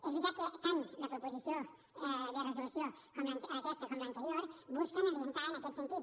és veritat que tant la proposició de resolució aquesta com l’anterior busquen orientar en aquest sentit